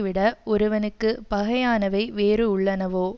விட ஒருவனுக்கு பகையானவை வேறு உள்ளனவோ